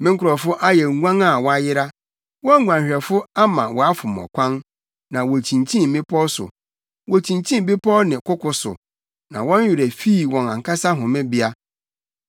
“Me nkurɔfo ayɛ nguan a wɔayera; wɔn nguanhwɛfo ama wɔafom ɔkwan ma wokyinkyin mmepɔw so. Wokyinkyin bepɔw ne koko so na wɔn werɛ fii wɔn ankasa homebea.